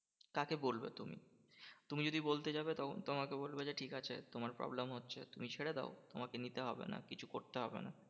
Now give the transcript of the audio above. কাকে বলবো তুমি? তুমি যদি বলতে যাবে তখন তোমাকে বলবে যে, ঠিকাছে তোমার problem হচ্ছে তুমি ছেড়ে দাও তোমাকে নিতে হবে না। কিছু করতে হবে না।